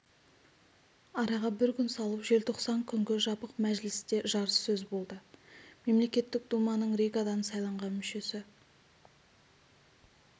араға бір күн салып желтоқсан күнгі жабық мәжілісте жарыссөз болды мемлекеттік думаның ригадан сайланған мүшесі